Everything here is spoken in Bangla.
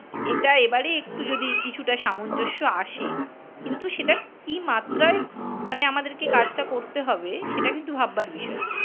এটা এবারে একটু যদি কিছুটা সামঞ্জস্য আসে। কিন্তু সেটা কি মাত্রায় মানে আমাদেরকে কাজটা করতে হবে সেটা কিন্তু ভাববার বিষয়।